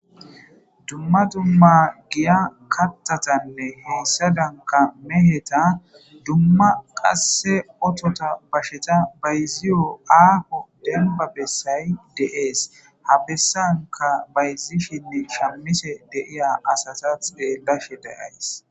Dumma dumma giya kattatanne heessadanka meheta dumma qasse otota basheta bayziyo aafo denba bessay de'ees ha bessanka bayzishinne shammise deiya asata xeellashe dayays